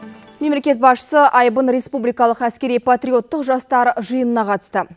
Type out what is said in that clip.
мемлекет басшысы айбын республикалық әскери патриоттық жастар жиынына қатысты